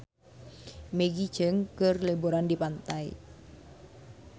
Maggie Cheung keur liburan di pantai